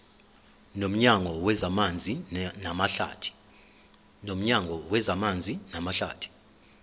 nomnyango wezamanzi namahlathi